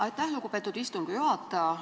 Aitäh, lugupeetud istungi juhataja!